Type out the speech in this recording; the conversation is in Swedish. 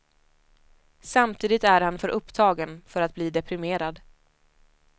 Samtidigt är han för upptagen för att bli deprimerad.